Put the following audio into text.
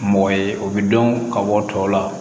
Mɔgɔ ye o bɛ dɔn ka bɔ tɔw la